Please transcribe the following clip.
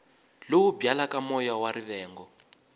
lowu byalaka moya wa rivengo